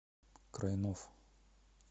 крайнов